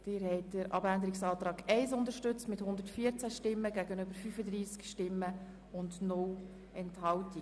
Sie haben dem Änderungsantrag 4 zugestimmt mit 92 Ja- gegen 49 Nein-Stimmen bei 6 Enthaltungen.